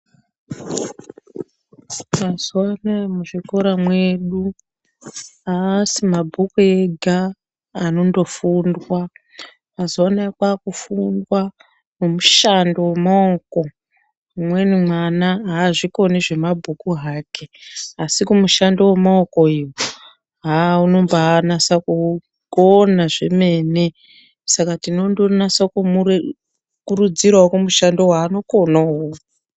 Mazuva anaya muzvikora mwedu aasi mabhuku ega anondofundwa mazuva anaya kwakufundwa nemishando yemaoko umweni mwana aazvikoni zvemabhuku hake asi kumushando wemaoko iyo haa unombanasa kukona zvemene saka tinonasa kumukurudzirawo kumushando waanokona uwowo.